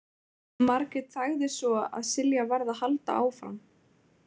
Margrét þagði svo að Silja varð að halda áfram.